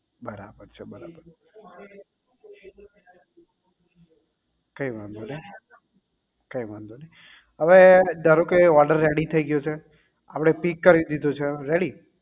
બરાબર છે બરાબર કઈ વાંધો નહીં કઈ વાંધો નહીં અવે ધારોકે order ready થઇ ગયો છે આપડે pick કરી દીધો છે ready